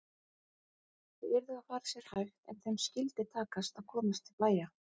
Þau yrðu að fara sér hægt en þeim skyldi takast að komast til bæja!